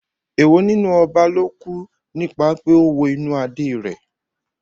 Èwo nínú ọba ló kú nípa pé ó wo inú Adé rẹ̀?